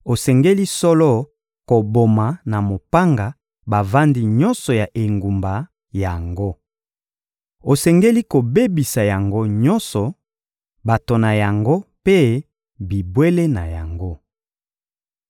osengeli solo koboma na mopanga bavandi nyonso ya engumba yango. Osengeli kobebisa yango nyonso: bato na yango mpe bibwele na yango.